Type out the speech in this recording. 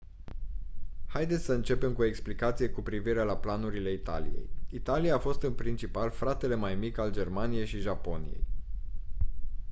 haideți să începem cu o explicație cu privire la planurile italiei. italia a fost în principal «fratele mai mic» al germaniei și japoniei